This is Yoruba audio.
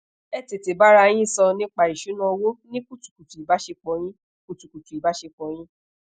e tete bara yin so nipa isuna owo ni kutukutu ibasepo yin kutukutu ibasepo yin